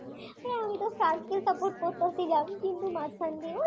আমিতো ফ্রান্সকে support করতেছিলাম কিন্তু মাঝখান দিয়ে ওই